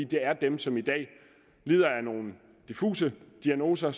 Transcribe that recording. det er dem som i dag lider af nogle diffuse diagnoser